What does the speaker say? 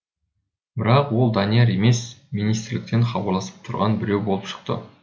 бірақ ол данияр емес министрліктен хабарласып тұрған біреу болып шықты